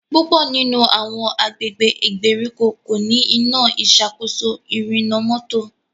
púpọ nínú àwọn agbègbè ìgbèríko ko ní Iná ìṣàkóso ìrìnnà mọ́tò.